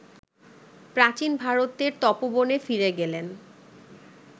প্রাচীন ভারতের তপোবনে ফিরে গেলেন